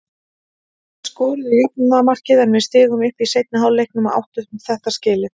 Þeir skoruðu jöfnunarmarkið en við stigum upp í seinni hálfleiknum og áttu þetta skilið.